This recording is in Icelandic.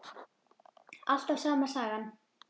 Alltaf sama sagan.